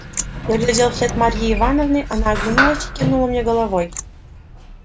я глядел вослед марьи ивановны она оглянулась и кивнула мне головой